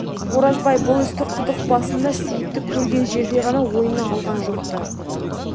оразбай бұл істі құдық басында сейітті көрген жерде ғана ойына алған жоқ-ты